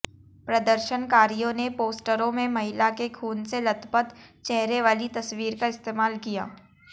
प्रदर्शनकारियों ने पोस्टरों में महिला के खून से लथपथ चेहरे वाली तस्वीर का इस्तेमाल किया